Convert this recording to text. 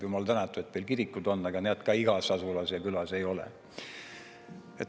Jumal tänatud, et veel kirikud on, aga neid ka igas asulas ja külas ei ole.